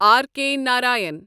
R K Narayan